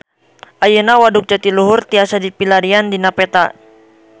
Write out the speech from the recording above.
Ayeuna Waduk Jatiluhur tiasa dipilarian dina peta